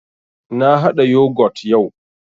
Na haɗa Yogut yau